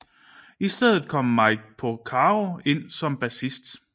I stedet kom Mike Porcaro ind som bassist